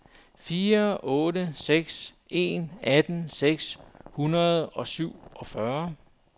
fire otte seks en atten seks hundrede og syvogfyrre